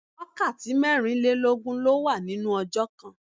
Wákàtí mẹ́rin lé lógún ló wà nínú ọjọ́ kan.